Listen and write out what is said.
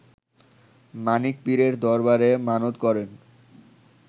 মানিক পীরের দরবারে মানত করেন